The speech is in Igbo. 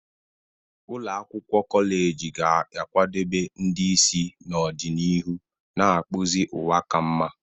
Ụlọ akwụkwọ kọleji ga-akwadebe ndị isi n'ọdịnihu, na-akpụzi ụwa ka mma.